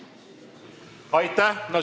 Aitäh!